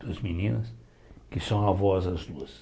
Duas meninas que são avós as duas.